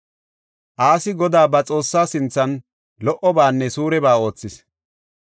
Asi Godaa ba Xoossaa sinthan lo77obaanne suureba oothis.